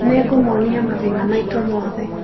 Nĩngũmuonia mathĩna maitũ mothe